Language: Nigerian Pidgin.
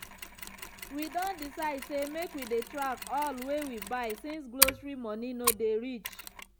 we don decide say make we dey track all wey we buy since grocery money no dey reach.